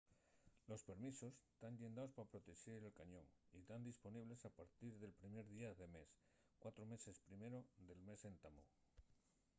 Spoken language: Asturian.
los permisos tán llendaos pa protexer el cañón y tán disponibles a partir del primer día del mes cuatro meses primero del mes d’entamu